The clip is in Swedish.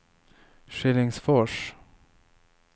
Skillingsfors